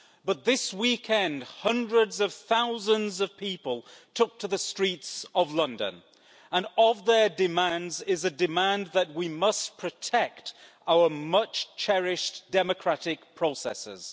But this weekend hundreds of thousands of people took to the streets of London and among their demands is a demand that we must protect our much cherished democratic processes.